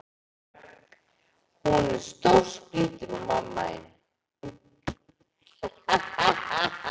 Hún er stórskrítin hún mamma þín.